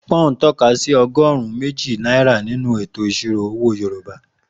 Pú́n tọ́ka sí ọgọ́rùn-ún méjì náírà nínú ètò ìṣirò owó Yorùbá.